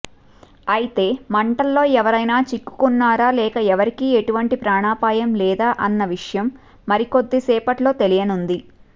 అయితే మంటల్లో ఎవరైనా చిక్కుకున్నారా లేక ఎవరికి ఎటువంటి ప్రాణాపాయం లేదా అన్న విషయం మరికొద్దిసేపట్లో తెలియనుంది